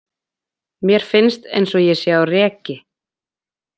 Mér finnst eins og ég sé á reki.